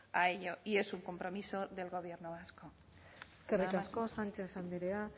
a ello y es un compromiso del gobierno vasco nada más eskerrik asko sánchez andrea